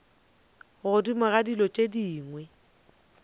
godimo ga dilo tše dingwe